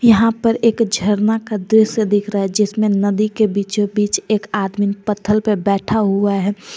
यहां पर एक झरना का दृश्य दिख रहा है जिसमें नदी के बीचों बीच एक आदमी पत्थल पे बैठा हुआ है।